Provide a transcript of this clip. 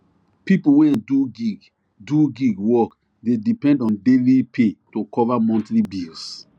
people wey do gig do gig work dey depend on daily pay to cover monthly bills